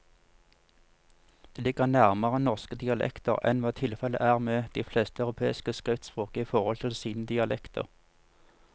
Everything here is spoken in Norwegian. Det ligger nærmere norske dialekter enn hva tilfellet er med de fleste europeiske skriftspråk i forhold til sine dialekter.